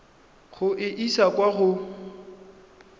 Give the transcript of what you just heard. go e isa kwa go